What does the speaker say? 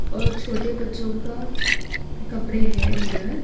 और छोटे बच्चों का कपड़े है उधर।